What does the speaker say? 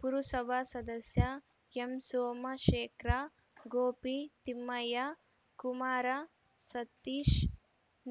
ಪುರುಸಭಾ ಸದಸ್ಯ ಎಂಸೋಮಶೇಖ್ರ್‌ ಗೋಪಿ ತಿಮ್ಮಯ್ಯ ಕುಮಾರ್‌ ಸತೀಶ್‌